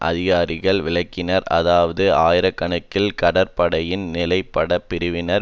அதிகாரிகள் விளக்கினர் அதாவது ஆயிர கணக்கில் கடற்படையின் நிலப்படைப் பிரிவினர்